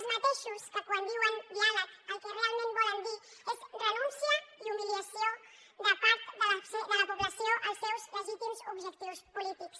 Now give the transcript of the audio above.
els mateixos que quan diuen diàleg el que realment volen dir és renúncia i humiliació de part de la població als seus legítims objectius polítics